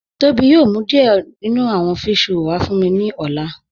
Tobi yòò mú díẹ̀ nínú àwọn físhrọ̀lì wà fún mí ni ọ̀lá